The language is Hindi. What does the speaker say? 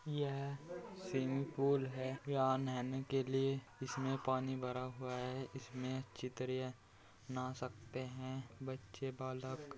यह स्विमिंग पूल है या नहाने के लिए इसमें पानी भरा हुआ है इसमें अच्छी तरह ना सकते हैं बच्चे बालक |